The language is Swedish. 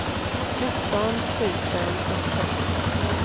fjorton tusen trettiofem